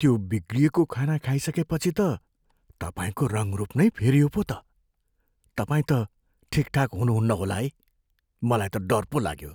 त्यो बिग्रिएको खाना खाइसकेपछि त तपाईँको रङ्गरूप नै फेरियो पो त! तपाईँ त ठिकठाक हुनुहुन्न होला है। मलाई त डर पो लाग्यो।